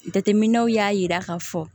Jateminɛw y'a jira k'a fɔ